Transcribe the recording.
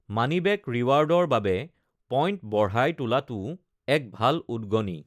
মানি back ৰিৱাৰ্ডৰ বাবে point বঢ়াই তোলাটোও এক ভাল উদগনি।